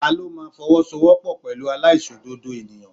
Ta ló máa fowosowopo pẹ̀lú aláìṣòdodo ènìyàn?